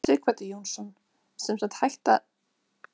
Sighvatur Jónsson: Sem sagt hætta að ljúga að ferðamönnum?